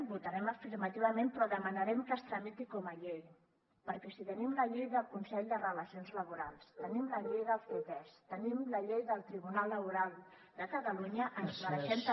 hi votarem afirmativament però demanarem que es tramiti com a llei perquè si tenim la llei del consell de relacions laborals tenim la llei del ctesc tenim la llei del tribunal laboral de catalunya ens mereixem també